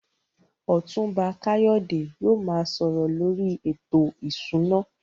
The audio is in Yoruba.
Otunba Kayode yóò máa sọ̀rọ̀ lórí ètò ìṣúná.